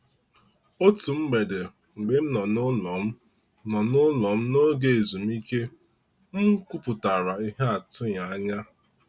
Otu mgbede mgbe m nọ n’ụlọ m nọ n’ụlọ n’oge ezumike, m kwupụtara ihe atụghị anya.